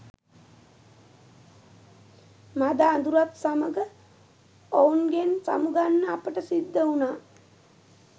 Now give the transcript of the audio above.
මඳ අදුරත් සමඟ ඔවුන්ගෙන් සමුගන්න අපට සිද්ධවුණා